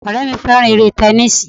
Ọ̀rẹ́ mi fẹ́ràn eré tẹnísíì